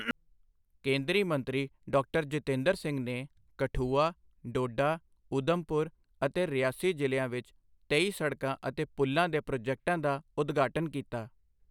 ਕੇਂਦਰੀ ਮੰਤਰੀ ਡਾਕਟਰ ਜਿਤੇਂਦਰ ਸਿੰਘ ਨੇ ਕਠੂਆ, ਡੋਡਾ, ਊਧਮਪੁਰ ਅਤੇ ਰਿਆਸੀ ਜ਼ਿਲ੍ਹਿਆਂ ਵਿੱਚ ਤੇਈ ਸੜਕਾਂ ਅਤੇ ਪੁਲ਼ਾਂ ਦੇ ਪ੍ਰੋਜੈਕਟਾਂ ਦਾ ਉਦਘਾਟਨ ਕੀਤਾ